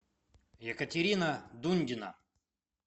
екатерина дундина